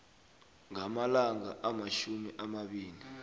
ngamalanga amatjhumi amabili